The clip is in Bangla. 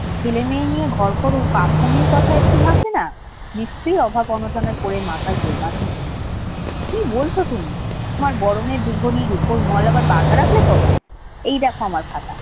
ছেলেমেয়ে নিয়ে ঘর কর কথা একটু ভাবলে না নিশ্চয়ই অভাব অনটনে পড়ে মাথায় গোলমাল হয়েছে কি বলছো তুমি তোমার বড় মেয়ে উপর মল আবার বাঁধা রাখলে কবে এই দেখো আমার কথা